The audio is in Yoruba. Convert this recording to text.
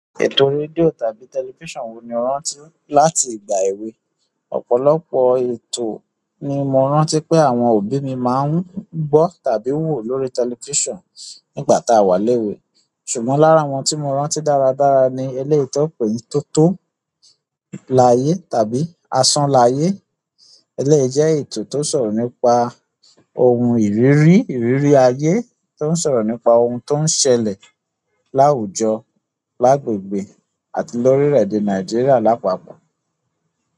Ètò rédíò tàbí tẹlifísàn wo ni o rántí láti ìgbà èwe? Ọ̀pọ̀lọpọ̀ ètò ni mo rántí pé àwọn òbí mi máa ń gbọ́ tàbí wò lórí tẹlifísàn nígbà tá a wà léwe. Ṣùgbọ́n lára àwọn tí mo rántí dáradára ni eléyìí tó pé ní Tótó l'ayé tàbí Asón l'ayé. Eléyìí jẹ́ ètò tó ń sọ̀rọ̀ nípa ohun ìrírí, ìrírí ayé, tó ń sọ̀rọ̀ nípa ohun tó ń ṣẹlẹ̀ láwùjọ, lágbègbè àti lórílẹ̀ èdè Nàìjíríà lápapọ̀.